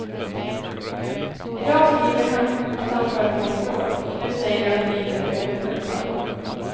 Idag skriver han att han har följt vårt råd, och nu säger du att det inte är ett dåligt företag.